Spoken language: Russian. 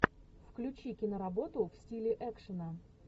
включи киноработу в стиле экшена